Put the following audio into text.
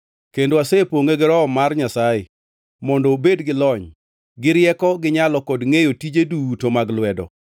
kendo asepongʼe gi Roho mar Nyasaye mondo obed gi lony, gi rieko, gi nyalo kod ngʼeyo tije duto mag lwedo;